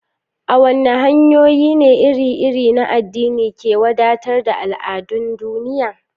A waɗanne hanyoyi ne iri-iri na addini ke wadatar da al'adun duniya?